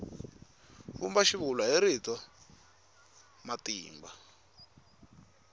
vumba xivulwa hi rito matimba